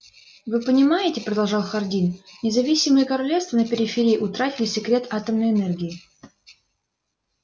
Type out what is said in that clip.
вы понимаете продолжал хардин независимые королевства на периферии утратили секрет атомной энергии